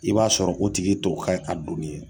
I b'a sɔrɔ o tigi to kɛ ka donni ye